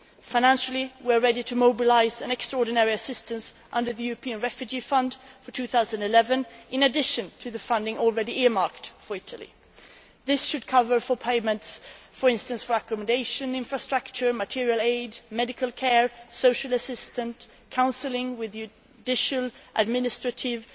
Financially, we are ready to mobilise extraordinary assistance, under the European Refugee Fund for 2011, in addition to the funding already earmarked for Italy. This should cover payments for accommodation, infrastructure, material aid, medical care, social assistants, counselling with judicial administrative